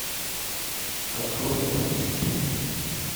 открой артист